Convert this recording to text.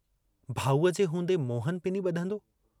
भाऊअ जे हूंदे मोहन पिनी बुधंदो?